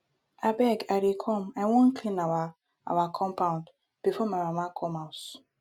abeg i dey come i wan clean our our compound before my mama come house